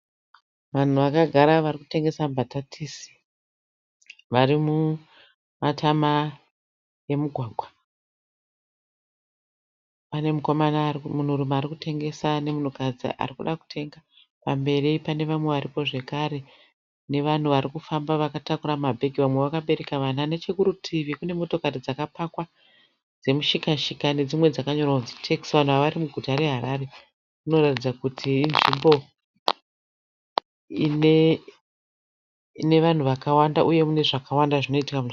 Vanhu vakagara vari kutengesa mbatatisi. Vari mumatama emugwagwa. Pane munhurume ari kutengesa nemunhukadzi ari kuda kutenga. Pamberi pane vamwe varipo zvakare nevanhu vari kufamba vakatakura mabhegi vamwe vakbereka vana. Nechekurutivi kune mota dzakapakwa dzemushika- shika nedzimwe dzakanyorwa kunzi tekisi. Vanhu ava vari muguta reHarare, inoratidzika kuti inzvimbo ine vanhu vakawanda uye mune zvakawanda zvinoitika.